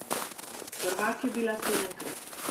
Prvak je bila sedemkrat.